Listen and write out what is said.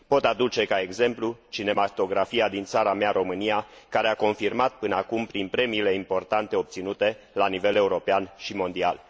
Pot aduce ca exemplu cinematografia din țara mea, România, care a confirmat până acum prin premiile importante obținute la nivel european și mondial.